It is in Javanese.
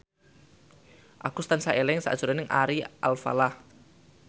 Agus tansah eling sakjroning Ari Alfalah